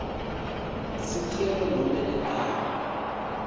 sicelo nobe ligama